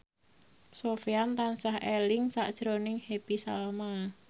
Sofyan tansah eling sakjroning Happy Salma